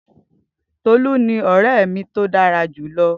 Tolu ni ore mi to dara julọ